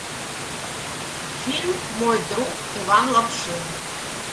фильм мой друг иван лапшин